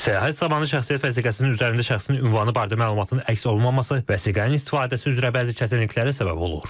Səyahət zamanı şəxsiyyət vəsiqəsinin üzərində şəxsin ünvanı barədə məlumatın əks olunmaması vəsiqənin istifadəsi üzrə bəzi çətinliklərə səbəb olur.